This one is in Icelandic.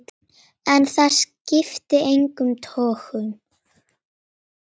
En það skipti engum togum.